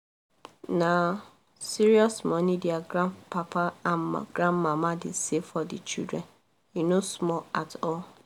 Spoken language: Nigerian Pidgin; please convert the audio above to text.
na serious money their grandpapa and grandmama dem save for the children e no small at all